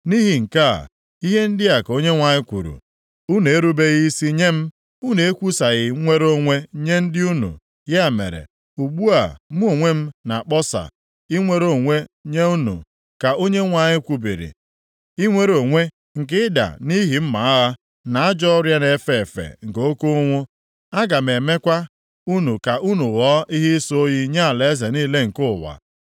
“Nʼihi nke a, ihe ndị a ka Onyenwe anyị kwuru, Unu erubeghị isi nye m, unu ekwusaghị nwere onwe nye ndị unu. Ya mere, ugbu a mụ onwe m na-akpọsa ‘Inwere onwe’ nye unu, ka Onyenwe anyị kwubiri, ‘inwere onwe’ nke ịda nʼihi mma agha, na ajọ ọrịa na-efe efe, na oke ụnwụ. Aga m emekwa unu ka unu ghọọ ihe ịsọ oyi nye alaeze niile nke ụwa.